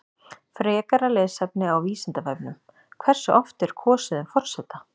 Frekara lesefni á Vísindavefnum: Hversu oft er kosið um forseta?